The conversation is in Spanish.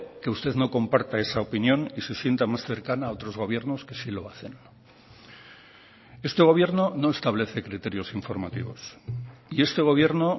que usted no comparta esa opinión y se sienta más cercana a otros gobiernos que sí lo hacen este gobierno no establece criterios informativos y este gobierno